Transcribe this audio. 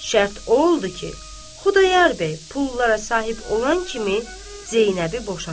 Şərt o oldu ki, Xudayar bəy pullara sahib olan kimi Zeynəbi boşasın.